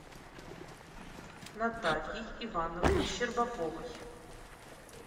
натальей ивановной щербаковой